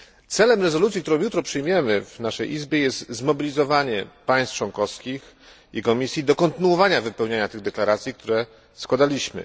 Celem rezolucji, którą jutro przyjmiemy w naszym Parlamencie, jest zmobilizowanie państw członkowskich i Komisji do kontynuowania wypełniania tych deklaracji, które składaliśmy.